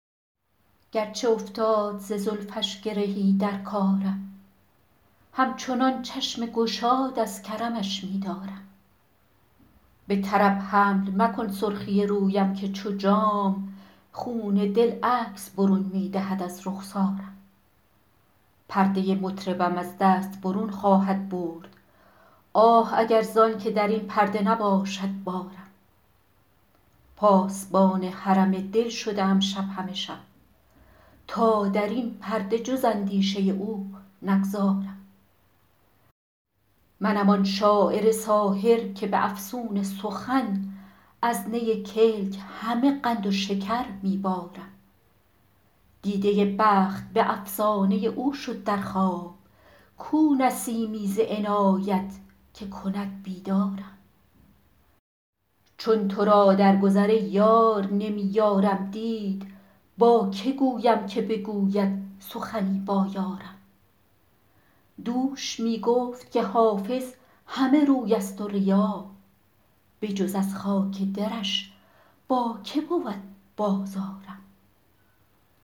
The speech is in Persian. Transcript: گرچه افتاد ز زلفش گرهی در کارم همچنان چشم گشاد از کرمش می دارم به طرب حمل مکن سرخی رویم که چو جام خون دل عکس برون می دهد از رخسارم پرده مطربم از دست برون خواهد برد آه اگر زان که در این پرده نباشد بارم پاسبان حرم دل شده ام شب همه شب تا در این پرده جز اندیشه او نگذارم منم آن شاعر ساحر که به افسون سخن از نی کلک همه قند و شکر می بارم دیده بخت به افسانه او شد در خواب کو نسیمی ز عنایت که کند بیدارم چون تو را در گذر ای یار نمی یارم دید با که گویم که بگوید سخنی با یارم دوش می گفت که حافظ همه روی است و ریا بجز از خاک درش با که بود بازارم